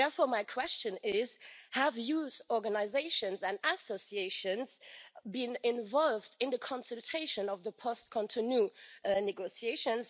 Therefore, my question is, have youth organisations and associations been involved in the consultation on the post Cotonou negotiations?